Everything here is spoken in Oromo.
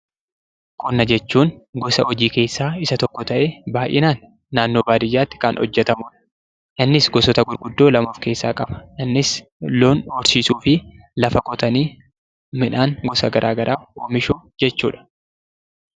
Qonna jechuun gosa hojii keessaa isa tokko ta'ee, baay'inaan naannoo baadiyaatti kan hojjetamudha. Innis gosoota gurguddoo lama of keessaa qaba. Innis loon horsiisuu fi lafa qotanii midhaan gosa garaa garaa oomishuu jechuudha.